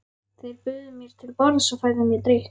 Þeir buðu mér til borðs og færðu mér drykk.